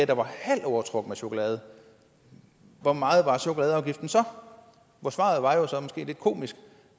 der var halvt overtrukket med chokolade hvor meget var chokoladeafgiften så og svaret var jo så lidt komisk